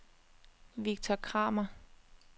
Victor Kramer